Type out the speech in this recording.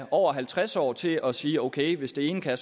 over halvtreds år til at sige ok hvis det ene kan